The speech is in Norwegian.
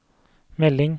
melding